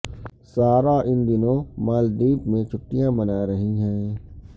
سارا ان دنوں مالدیپ میں چھٹیاں منا رہی ہیں